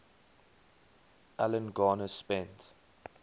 alan garner spent